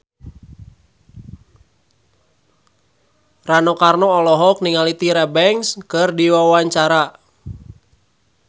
Rano Karno olohok ningali Tyra Banks keur diwawancara